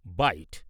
byte